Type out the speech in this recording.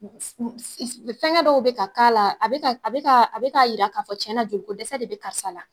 Fɛngɛ dɔw be ka k'ala a bɛ k'a e be k'a e be k'a yira k'a fɔ cɛna joliko dɛsɛ de be karisa la